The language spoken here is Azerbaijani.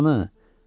Qulyabanı!